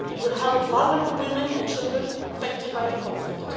it will help vulnerable women and children affected by the conflict